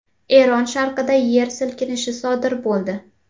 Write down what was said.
Eron sharqida yer silkinishi sodir bo‘ldi.